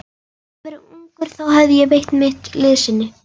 Hefði ég verið ungur, þá hefði ég veitt mitt liðsinni.